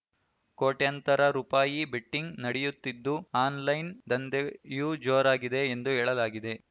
ಕೋಟ್ಯಂತರ ರುಪಾಯಿ ಬೆಟ್ಟಿಂಗ್‌ ನಡೆಯುತ್ತಿದ್ದು ಆನ್‌ಲೈನ್‌ ದಂಧೆಯೂ ಜೋರಾಗಿದೆ ಎಂದು ಹೇಳಲಾಗಿದೆ